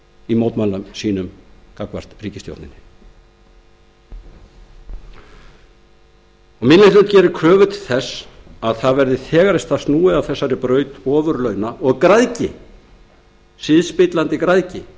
í mótmælum sínum gagnvart ríkisstjórninni minni hlutinn gerir kröfu til þess að það verði þegar í stað snúið af þessari braut ofurlauna og græðgi siðspillandi græðgi